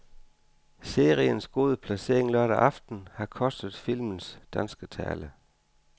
Seriens gode placering lørdag aften har kostet filmens danske tale.